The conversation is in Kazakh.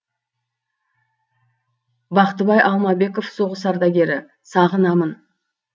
бақтыбай алмабеков соғыс ардагері сағынамын